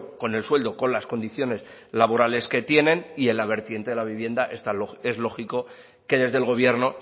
con el sueldo con las condiciones laborales que tienen y en la vertiente de la vivienda es lógico que desde el gobierno